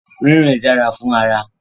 Ririn dara fun ara